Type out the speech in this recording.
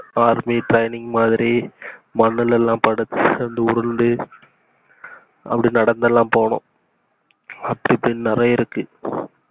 army training மாதிரி மன்னுல படுத்து எழுந்து உருண்டு அப்படி நடந்துலாம் போவோம் அப்படி இப்படின்னு நிறைய இருக்கு